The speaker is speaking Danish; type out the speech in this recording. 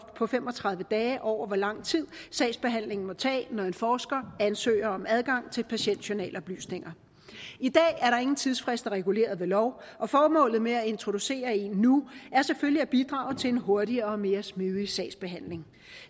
på fem og tredive dage over hvor lang tid sagsbehandlingen må tage når en forsker ansøger om adgang til patientjournaloplysninger i dag er der ingen tidsfrist reguleret ved lov og formålet med at introducere en nu er selvfølgelig at bidrage til en hurtigere og mere smidig sagsbehandling